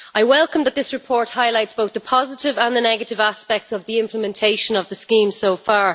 I welcome that this report highlights both the positive and the negative aspects of the implementation of the scheme so far.